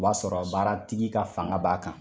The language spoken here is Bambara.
O b'a sɔrɔ baara tigi ka fanga b'a kan.